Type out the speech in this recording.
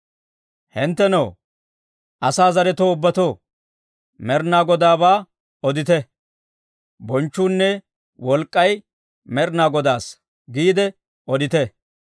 Hinttenoo, asaa zaretoo ubbatoo, Med'inaa Godaabaa odite; «Bonchchuunne wolk'k'ay Med'inaa Godaassa» giide odite.